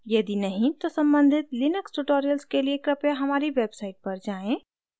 यदि नहीं तो सम्बधित लिनक्स tutorials के लिए कृपया हमारी website पर जाएँ